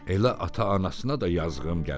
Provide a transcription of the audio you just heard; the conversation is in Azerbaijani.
Elə ata-anasına da yazığım gəlir.